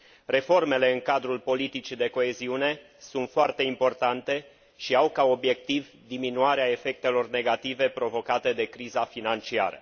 Reformele în cadrul politicii de coeziune sunt foarte importante și au ca obiectiv diminuarea efectelor negative provocate de criza financiară.